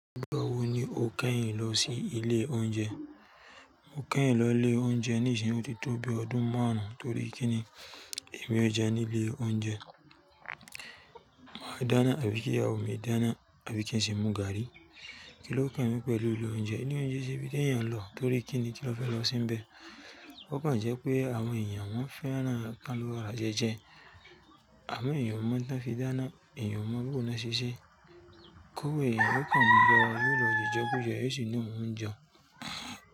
Nígbà wo ni o kẹ́yìn lọ sí ilé oúnjẹ? Mo kẹ́yìn lọ ilé oúnjẹ ní ìsìn wọ́tí tóbi ọdún márùn-ún torí kin ni èmi ó jẹ ní ilé oúnjẹ. Máa dáná, àbí kí ìyàwó mi dáná, àbí kí n sì mú gààrí. Kí ló kan mi pẹ̀lú ilé oúnjẹ? Ilé oúnjẹ o kin ṣe ibi tí èèyàn ń lọ torí kin ni kí la fẹ́ lọ se nibẹ̀. Ó kan je pé àwọn èèyàn wọ́n fẹ́ran ka lo ọ̀rọ̀ ajẹjẹ. Àwọn èèyàn ò mo ohun tan fi dana, èèyàn ò mọ̀ boo ni wọ́n ṣe ṣeẹ́. Kó wo èèyàn yiò kan mo je ijekujẹ yo si lohun jeun.